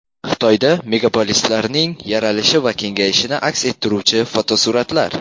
Xitoyda megapolislarning yaralishi va kengayishini aks ettiruvchi fotosuratlar.